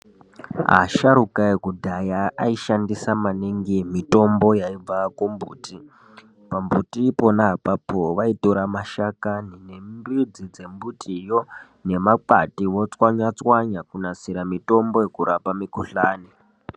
Asharukwa ekudhaya aishandisa maningi mitombo yaibva kumbiti, pambuti ipona apapo vaitora mashakani nembidzi dzembutiyo nemakwati vatswanya tswanya kunasira mitombo yekurapa mikhuhlani.